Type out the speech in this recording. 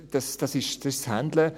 Das ist das «Handlen».